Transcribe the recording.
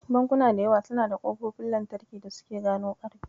Bankuna da yawa suna da ƙofofin lantarki da suke gano ƙarfe.